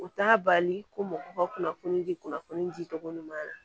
U t'a bali ko mɔgɔw ka kunnafoni di kunnafoni di cogo ɲuman na